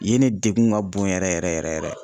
Yen ni degun ka bon yɛrɛ yɛrɛ yɛrɛ yɛrɛ.